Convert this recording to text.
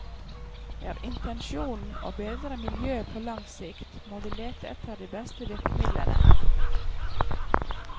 Er intensjonen å bedre miljøet på lang sikt, må vi lete etter de beste virkemidlene.